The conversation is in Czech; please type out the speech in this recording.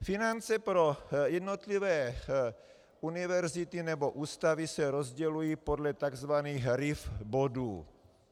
Finance pro jednotlivé univerzity nebo ústavy se rozdělují podle takzvaných RIV bodů.